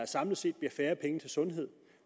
samlet set bliver færre penge til sundhed